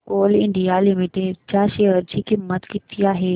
आज कोल इंडिया लिमिटेड च्या शेअर ची किंमत किती आहे